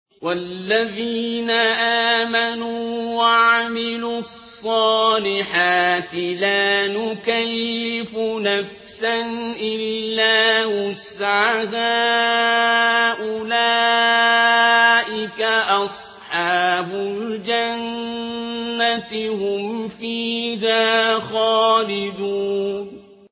وَالَّذِينَ آمَنُوا وَعَمِلُوا الصَّالِحَاتِ لَا نُكَلِّفُ نَفْسًا إِلَّا وُسْعَهَا أُولَٰئِكَ أَصْحَابُ الْجَنَّةِ ۖ هُمْ فِيهَا خَالِدُونَ